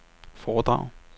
foredrag